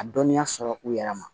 A dɔnniya sɔrɔ u yɛrɛ ma